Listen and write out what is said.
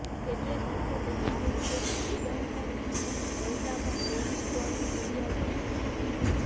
કેટલેક અંશે તો સાહિત્યમાં ઈબ્સન કરતાં પણ બોર્નસ્ટોન ચઢિયાતો હતો